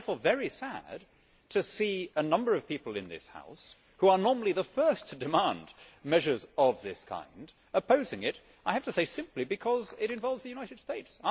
It is therefore very sad to see a number of people in this House who are normally the first to demand measures of this kind opposing it, I have to say, simply because it involves the United States.